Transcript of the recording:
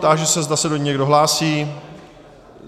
Táži se, zda se do ní někdo hlásí.